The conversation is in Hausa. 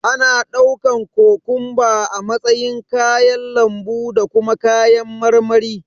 Ana ɗaukan kokomba a matsayin kayan lambu da kuma kayan marmari.